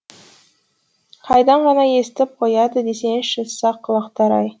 қайдан ғана естіп қояды десеңізші сақ құлақтар ай